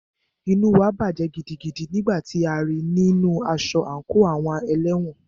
Inú wa bàjẹ́ gidigidi nígbà tí a rí í nínu aṣọ àńkò àwọn ẹlẹ́wọ̀n.